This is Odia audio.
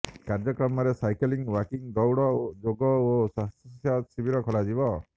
କାର୍ଯ୍ୟକ୍ରମରେ ସାଇକେଲିଂ ୱାକିଂ ଦୌଡ଼ ଯୋଗ ଓ ସ୍ୱାସ୍ଥ୍ୟଶିବର ଖୋଲାଯିବ